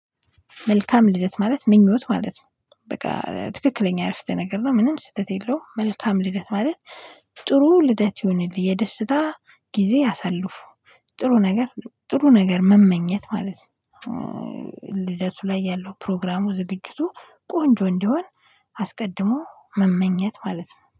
መልካም ልደት ማለት ምኞት ማለት ነው በቃ ትክክለኛ አረፍተ ነገር ነው ምንም ስህተት የለውም። መልካም ልደት ማለት። ጥሩ ልደት ይሁንልህ የደስታ ጊዜ አሳልፉ። ጥሩ ነገር ጥሩ ነገር መመኘት ማለት ነው። ልደቱ ላይ ያለው ፕሮግራሙ ዝግጅቱ ቆንጆ እንዲሆን አስቀድሞ መመኘት ማለት ነው